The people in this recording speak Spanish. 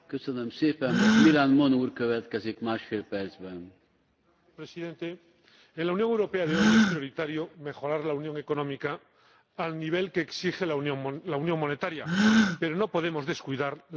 Señor Presidente, en la Unión Europea de hoy es prioritario mejorar la unión económica al nivel que exige la unión monetaria, pero no podemos descuidar la dimensión de seguridad y defensa.